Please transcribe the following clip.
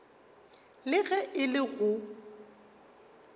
le ge e le go